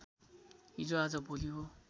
हिजो आज भोलि हो